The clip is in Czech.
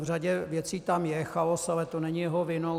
V řadě věcí tam je chaos, ale to není jeho vinou.